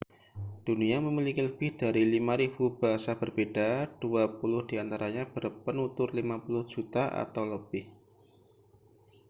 dunia memiliki lebih dari 5.000 bahasa berbeda dua puluh di antaranya berpenutur 50 juta atau lebih